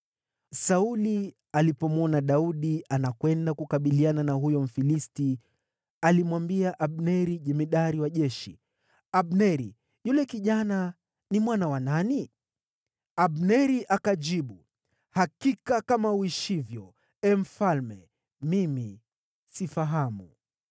Sauli alipomwona Daudi anakwenda kukabiliana na huyo Mfilisti, alimwambia Abneri, jemadari wa jeshi, “Abneri, yule kijana ni mwana wa nani?” Abneri akajibu, “Hakika kama uishivyo, ee mfalme, mimi sifahamu.”